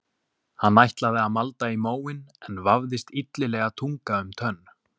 Hann ætlaði að malda í móinn en vafðist illilega tunga um tönn.